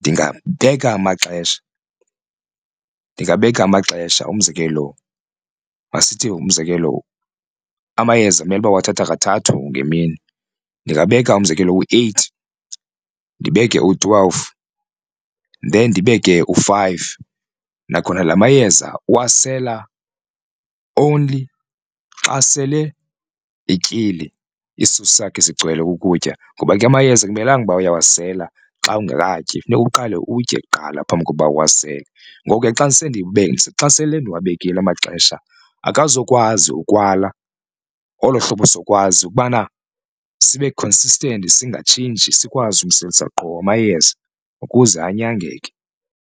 ndingabeka amaxesha ndingabeka amaxesha. Umzekelo, masithi umzekelo amayeza amele uba uwathatha kathathu ngemini ndingabeka umzekelo u-eight ndibeke u-twelve then ndibeke u-five. Nakhona la mayeza uwasela only xa sele etyile isisu sakhe sigcwele kukutya ngoba ke amayeza akumelanga uba uyawasela xa ungakatyi funeka uqale utye kuqala phambi kokuba uwasele. Ngoku ke xa xa sele ndiwabekile amaxesha akazukwazi ukwala olo hlobo sokwazi ukubana sibe consistent singatshintshi sikwazi umselisa qho amayeza ukuze anyangeke.